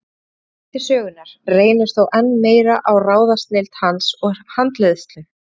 Í öðrum þætti sögunnar reynir þó enn meir á ráðsnilld hans og handleiðslu.